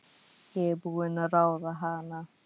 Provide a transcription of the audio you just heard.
Ég er búin að ráða hana!